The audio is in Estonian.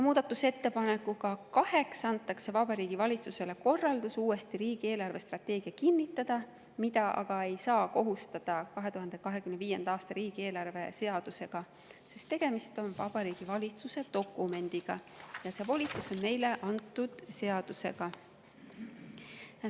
Muudatusettepanekuga nr 8 anti Vabariigi Valitsusele korraldus riigi eelarvestrateegia uuesti kinnitada, milleks aga ei saa kohustada 2025. aasta riigieelarve seadusega, sest tegemist on Vabariigi Valitsuse dokumendiga ja see volitus on neile antud seadusega.